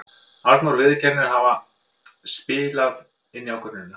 Arnór viðurkennir að það hafi spilað inn í ákvörðunina.